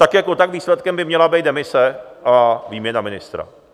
Tak jako tak výsledkem by měla být demise a výměna ministra.